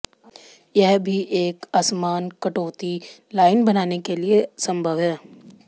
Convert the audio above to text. यह भी एक असमान कटौती लाइन बनाने के लिए संभव है